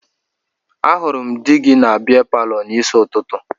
Ahụrụ m di gị na bịa palọ n'isi ụtụtụ